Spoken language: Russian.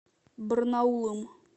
барнаулом